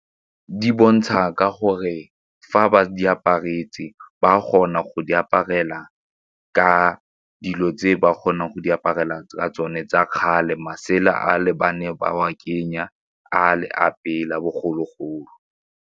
Di bontsha ka gore fa ba di aparetswe ba kgona go di aparela ka dilo tse ba kgonang go di aparela tsa tsone tsa kgale masela a le ba ne ba wa kenya a le a bogologolo.